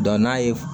n'a ye